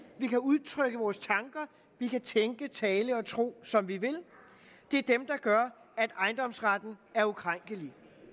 at vi kan udtrykke vores tanker vi kan tænke tale og tro som vi vil det er dem der gør at ejendomsretten er ukrænkelig det